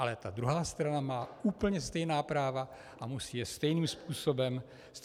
Ale ta druhá strana má úplně stejná práva a musí je stejným způsobem používat.